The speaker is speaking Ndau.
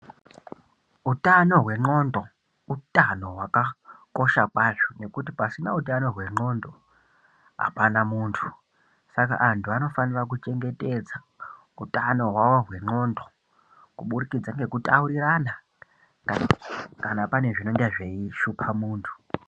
Utano hwendxondo utano hwakakosha kwazvo ngekuti pasina ndxondo apana muntu. Saka vantu vanofanire kuchengetedza utano hwavo hwendxondo kubudikidza ngekutaurirana kana panenge pane zvinenge zveishupa muntu.